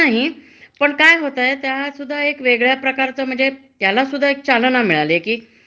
- आणि मालकाला जोपर्यंत त्याचा व्यवसाय ठीक चालतोय, हं. तोपर्यंतच तुमची नोकरी. हा.